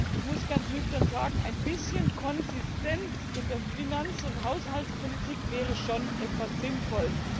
Ich muss ganz nüchtern sagen, ein bisschen Konsistenz in der Finanz und Haushaltspolitik wäre schon etwas sinnvoll.